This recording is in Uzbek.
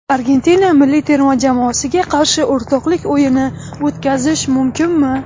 Argentina milliy terma jamoasiga qarshi o‘rtoqlik o‘yini o‘tkazish mumkinmi?